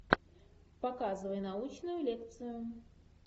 показывай научную лекцию